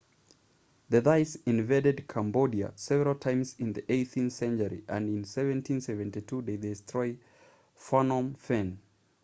the thais invaded cambodia several times in the 18th century and in 1772 they destroyed phnom phen